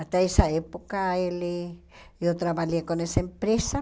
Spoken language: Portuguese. Até essa época, ele eu trabalhei com essa empresa.